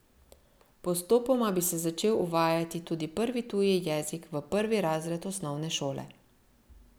Postopoma bi se začel uvajati tudi prvi tuji jezik v prvi razred osnovne šole.